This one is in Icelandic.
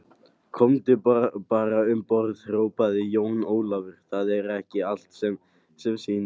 Komdu bara um borð, hrópaði Jón Ólafur, það er ekki allt sem sýnist.